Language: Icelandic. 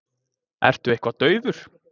Ertu eitthvað daufur?